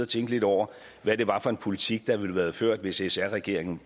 tænke lidt over hvad det var for en politik der ville have været ført hvis sr regeringen